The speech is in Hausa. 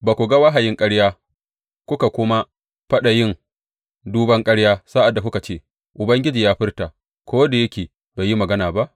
Ba ku ga wahayin ƙarya kuka kuma faɗa yin duban ƙarya sa’ad da kuka ce, Ubangiji ya furta, ko da yake bai yi magana ba?